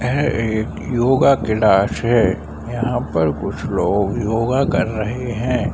ये एक योगा क्लास है। यहाँ पर कुछ लोग योगा कर रहे हैं।